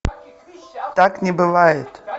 так не бывает